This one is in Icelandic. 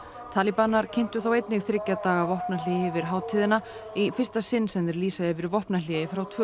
talíbanar kynntu þá einnig þriggja daga vopnahlé yfir hátíðina í fyrsta sinn sem þeir lýsa yfir vopnahléi frá tvö